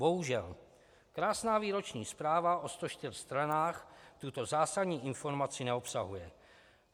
Bohužel, krásná výroční zpráva o 104 stranách tuto zásadní informaci neobsahuje.